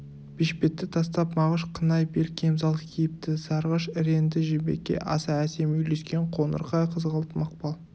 бешпетті тастап мағыш қынай бел кемзал киіпті сарғыш іреңді жібекке аса әсем үйлескен қоңырқай қызғылт мақпал